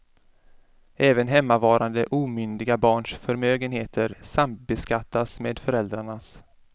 Även hemmavarande omyndiga barns förmögenheter sambeskattas med föräldrarnas.